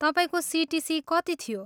तपाईँको सिटिसी कति थियो?